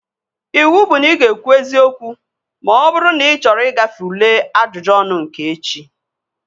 Iwu bụ na ị ga-ekwu eziokwu ma ọ bụrụ na ị chọrọ igafe ule ajụjụ ọnụ nke echi!